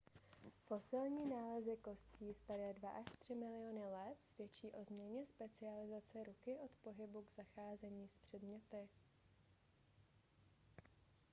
fosilní nálezy kostí staré dva až tři miliony let svědčí o změně specializace ruky od pohybu k zacházení s předměty